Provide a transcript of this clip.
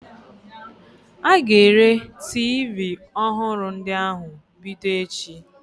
A ga-ere tiivii ọhụrụ ndị ahụ bido echi.